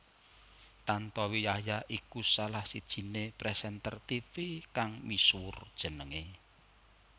Tantowi Yahya iku salah sijiné presenter tivi kang misuwur jenengé